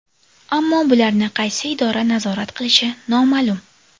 Ammo bularni qaysi idora nazorat qilishi noma’lum.